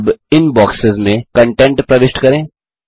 अब इन बॉक्सेस में कन्टेंट प्रविष्ट करें